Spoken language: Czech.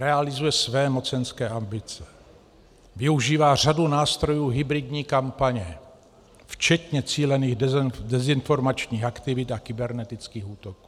Realizuje své mocenské ambice, využívá řadu nástrojů hybridní kampaně, včetně cílených dezinformačních aktivit a kybernetických útoků.